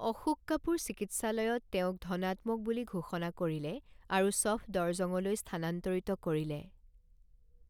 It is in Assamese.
অশোক কাপুৰ চিকিৎসালয়ত তেওঁক ধনাত্মক বুলি ঘোষণা কৰিলে আৰু ছফদৰজঙলৈ স্থানান্তৰিত কৰিলে।